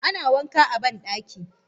ana wanka a bandaki.